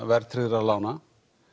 verðtryggðra lána